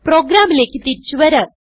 പ്രോഗ്രാമിലേക്ക് തിരിച്ചു വരാം